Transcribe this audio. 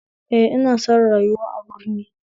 Eh ina son rayuwa a birni